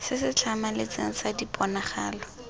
se se tlhamaletseng sa diponagalo